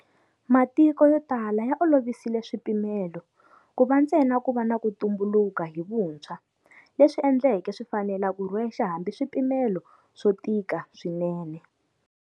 Matiko yo tala ya olovisile swipimelo, ku va ntsena ku va na ku tumbulu ka hi vuntshwa, leswi endle ke swi fanela ku rhwexa hambi swipimelo swo tika swinene.